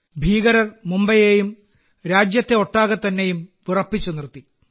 ഭീകരർ മുംബൈയെയും രാജ്യത്തെയൊട്ടാകെ തന്നെയും വിറപ്പിച്ചു നിർത്തി